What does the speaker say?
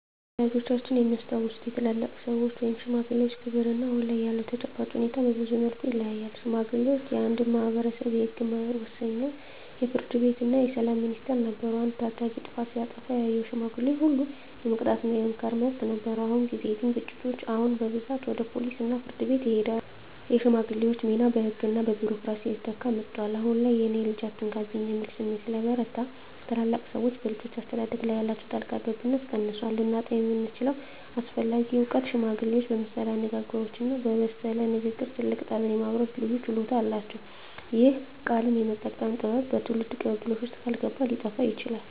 ወላጆቻችን የሚያስታውሱት የታላላቅ ሰዎች (ሽማግሌዎች) ክብርና አሁን ላይ ያለው ተጨባጭ ሁኔታ በብዙ መልኩ ይለያያል። ሽማግሌዎች የአንድ ማኅበረሰብ የሕግ መወሰኛ፣ የፍርድ ቤትና የሰላም ሚኒስቴር ነበሩ። አንድ ታዳጊ ጥፋት ሲያጠፋ ያየው ሽማግሌ ሁሉ የመቅጣትና የመምከር መብት ነበረው። በአሁን ጊዜ ግን ግጭቶች አሁን በብዛት ወደ ፖሊስና ፍርድ ቤት ይሄዳሉ። የሽማግሌዎች ሚና በሕግና በቢሮክራሲ እየተተካ መጥቷል። አሁን ላይ "የእኔን ልጅ አትነካብኝ" የሚል ስሜት ስለበረታ፣ ታላላቅ ሰዎች በልጆች አስተዳደግ ላይ ያላቸው ጣልቃ ገብነት ቀንሷል። ልናጣው የምንችለው አስፈላጊ እውቀት ሽማግሌዎች በምሳሌያዊ አነጋገሮችና በለሰለሰ ንግግር ትልቅ ጠብን የማብረድ ልዩ ችሎታ አላቸው። ይህ "ቃልን የመጠቀም ጥበብ" በትውልድ ቅብብሎሽ ውስጥ ካልገባ ሊጠፋ ይችላል።